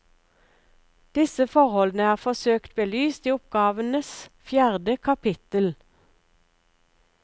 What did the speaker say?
Disse forholdene er forsøkt belyst i oppgavens fjerde kapittel.